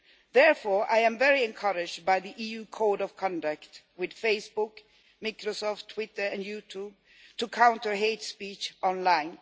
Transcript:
Therefore I am very encouraged by the EU Code of Conduct with Facebook, Microsoft Twitter and YouTube to counter hate speech online.